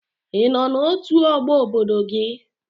Ị nọ n'otu ọgbọ obodo gị?